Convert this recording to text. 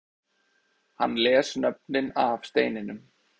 Hann les nöfnin af steininum